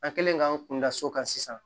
An kɛlen k'an kun da so kan sisan